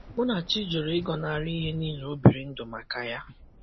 Munachi jụrụ ịgọnarị ihe niile o biri ndụ maka ya.